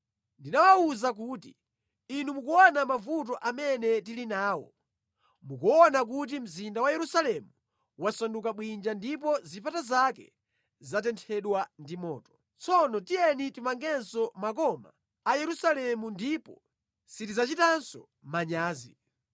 Ndinawawuza kuti, “Inu mukuona mavuto amene tili nawo. Mukuona kuti mzinda wa Yerusalemu wasanduka bwinja ndipo zipata zake zatenthedwa ndi moto. Tsono tiyeni timangenso makoma a Yerusalemu ndipo sitidzachitanso manyazi.”